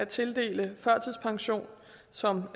tildele førtidspension som